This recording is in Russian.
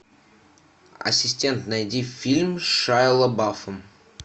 ассистент найди фильм с шайа лабафом